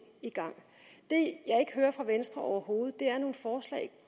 i gang det jeg ikke hører fra venstre overhovedet er nogle forslag